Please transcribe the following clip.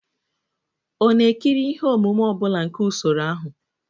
Ọ na-ekiri ihe omume ọ bụla nke usoro ahụ?